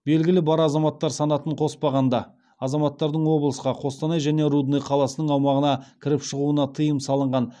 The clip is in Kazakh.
белгілі бар азаматтар санатын қоспағанда азаматтардың облысқа қостанай және рудный қаласының аумағына кіріп шығуына тыйым салынған